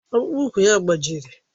Ọkpụkpụ úkwù ya gbajiri